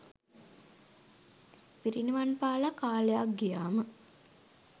පිරිනිවන්පාලා කාලයක් ගියාම